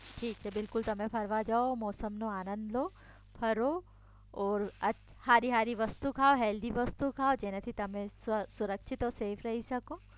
ઠીક છે બિલકુલ તમે ફરવા જાઓ મોસમનો આનંદ લો ફરો ઓર હારી હારી વસ્તુ ખાઓ હેલ્ધી વસ્તુ ખાઓ જેનાથી તમે સુરક્ષિત ઓર સેફ રઈ શકો